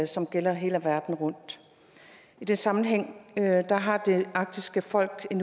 som gælder hele verden rundt i den sammenhæng har det arktiske folk en